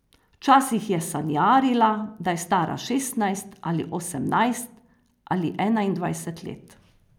Včasih je sanjarila, da je stara šestnajst ali osemnajst ali enaindvajset let.